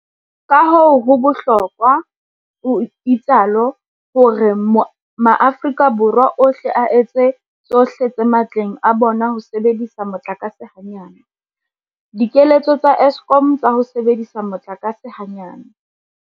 Kahoo ho bohlokwa, o itsalo, hore maAforika Borwa ohle a etse tsohle tse matleng a bona ho sebedisa motlakase hanyane. Dikeletso tsa Eskom tsa ho sebedisa motlakase hanyane.